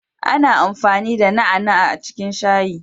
Ana amfani da ganyan na'a na'a a cikin shayi